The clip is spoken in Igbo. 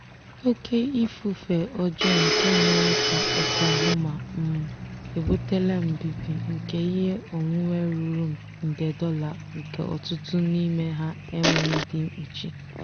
ndị ezinụlọ nọ mba ofesi na-adabere na usoro dijitalụ iji zipụ ego kwa ọnwa.